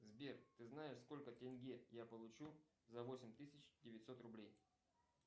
сбер ты знаешь сколько тенге я получу за восемь тысяч девятьсот рублей